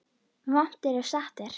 Vont er ef satt er.